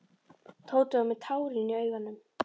Tóti var með tárin í augunum.